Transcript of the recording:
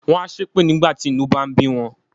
Wọ́n a ṣépè nígbà tí inú ń bá bí wọn.